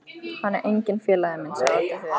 Hann er enginn félagi minn sagði Oddur þver